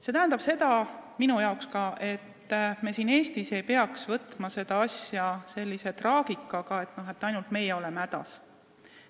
See tähendab seda, ka minu arvates, et me siin Eestis ei peaks võtma seda asja sellise traagikaga, nagu ainult meie oleksime hädas.